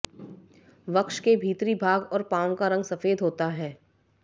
वक्ष के भीतरी भाग और पाँव का रंग सफेद होता है